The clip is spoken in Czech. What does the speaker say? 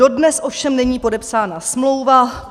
Dodnes ovšem není podepsána smlouva.